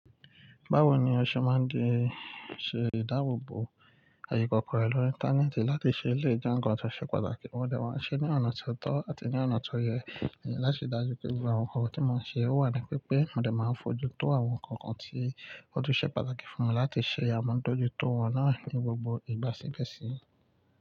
Báwo ni o ṣe máa ń di ṣe ìdáàbò bo àyè ikọkọ rẹ lórí Íńtánéètì láti ṣe eléyìí jẹ́ nǹkan tó ṣe pàtàkì. Mo dẹ̀ wá ṣe ní ọ̀nà tó tọ́ àti ní ọ̀nà tó yẹ láti dájú pé gbogbo àwọn nǹkan tí mo ń ṣe ó wà ní pípé. Mo dẹ̀ máa fojú tó àwọn nǹkan kan tí ó tùn ṣe pàtàkì fún mi láti ṣe àmọ́tojú tó wọ́n náà ní gbogbo ìgbà sígbẹ̀sí.